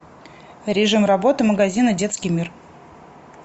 режим работы магазина детский мир